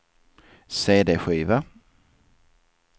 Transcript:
cd-skiva